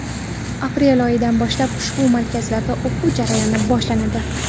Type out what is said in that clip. Aprel oyidan boshlab ushbu markazlarda o‘quv jarayoni boshlanadi.